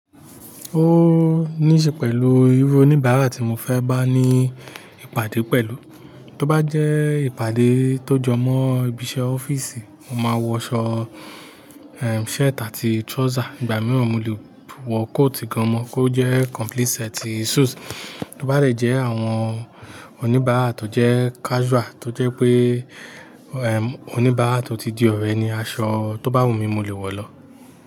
Ó níṣe pẹ̀lú irú oníbàárà tí tí mọ fẹ́ bá níí ìpàdé pẹ̀lú. Tó bá jẹ́ ìpàdé tó jọ mọ́ ibi iṣẹ́ ọ́fíìsì, mọ máa wọ aṣọ, eh, shirt àti trouser. Ìgbà mìíràn mo lè wọ coat gan mọ́, kó jẹ́ complete set suit. Tó bá dè jẹ́ àwọn oníbàárà tó jẹ́ casual, tó jẹ́ pé, eh, oníbàárà tó ti di ọ̀rẹ́ ni aṣọ tó bá wùmí mo lè wọ̀ lọ.